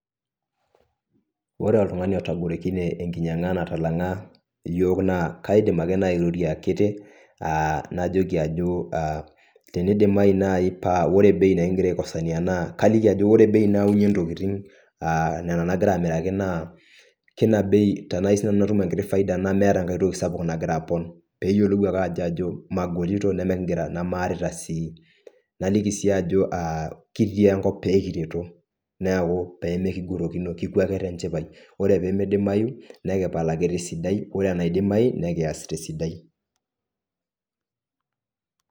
Wore oltungani otagorokine enkinyianga natalanga iyiok naa kaidim ake naai airorie akiti. Najoki ajo tenidimayu naai paa wore bei nikikira aikosaniyia naa kaliki ajo wore bei nayaunyie intokitin niana naakira amiraki naa kina bei tenayiou sinanu natum enkiti faida nemeeta enkae toki sapuk nakira apon. Peeyiolou ake ajo magorito namaarita sii. Naliki sii ajo kitii enkop pee kireto, neeku peemikigorokino kipuo ake tenchipae, wore pee midimayu, nikipal ake tesidai. Wore enaidimai, nikias tesidai.